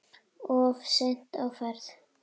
Of seinn á ferð?